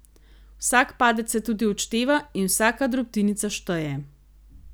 Vsak padec se tudi odšteva in vsaka drobtinica šteje.